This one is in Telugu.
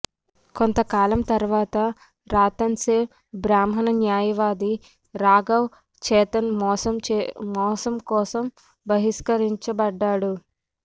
కొంతకాలం తర్వాత రతన్ సేన్ బ్రాహ్మణ న్యాయవాది రాఘవ్ చేతన్ మోసం కోసం బహిష్కరించబడ్డాడు